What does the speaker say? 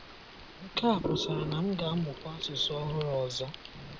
Nke a pụtara na m ga - amụkwa asụsụ ọhụrụ ọzọ.